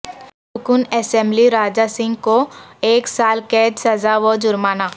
رکن اسمبلی راجہ سنگھ کو ایک سال قید سزا و جرمانہ